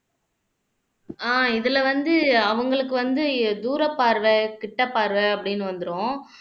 அஹ் இதுல வந்து அவங்களுக்கு வந்து தூரப்பார்வை கிட்டப்பார்வை அப்படின்னு வந்துரும்